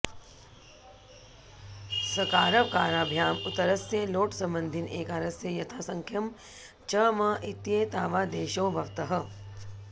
सकारवकाराभ्याम् उत्तरस्य लोट्सम्बन्धिन एकारस्य यथासङ्ख्यं च अम् इत्येतावादेशौ भवतः